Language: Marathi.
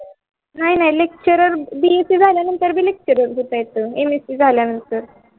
नाही नाही lecturerbsc झाल्यावर पण lecture असत.